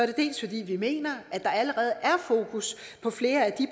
det dels fordi vi mener at der allerede er fokus på flere af de